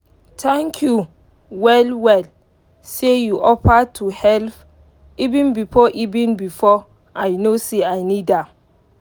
thank you well well say you offer to help even before even before i know sey i need am